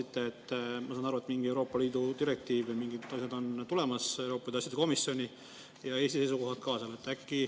Te vastasite, ma sain aru, et mingi Euroopa Liidu direktiivi mingid asjad on tulemas Euroopa Liidu asjade komisjoni ja Eesti seisukohad ka.